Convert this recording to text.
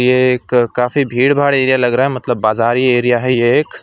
ये एक काफी भीड़भाड़ एरिया लग रहा है मतलब बाजारी एरिया है ये एक।